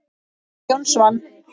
Jón Svan.